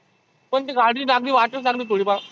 पण ती गाडी लागली वाटच लागली थोडी फार.